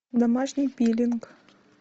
домашний пилинг